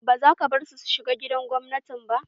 Ba za ka bari su shiga gidan gwamnati ba!